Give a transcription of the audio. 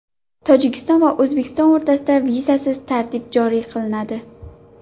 Tojikiston va O‘zbekiston o‘rtasida vizasiz tartib joriy qilinadi.